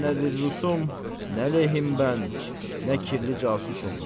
Mən nə bir rusum, nə ləhim mən, nə kirli casusum.